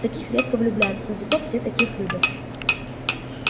в таких редко влюбляются но зато все таких любят